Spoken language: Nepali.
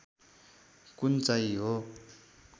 कुन चाहिँ हो